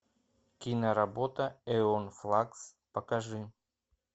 киноработа эон флакс покажи